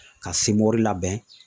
Ka labɛn